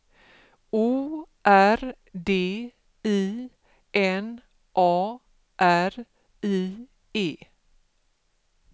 O R D I N A R I E